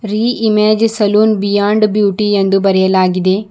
ರೀ Image Salon Beyond Beauty ಎಂದು ಬರೆಯಲಾಗಿದೆ.